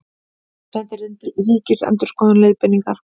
Sendi Ríkisendurskoðun leiðbeiningar